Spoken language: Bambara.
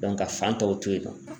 ka fan tɔw to yen nɔ.